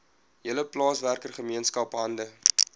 hele plaaswerkergemeenskap hande